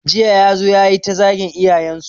Jiya ya zo yayi ta zagin iyayen su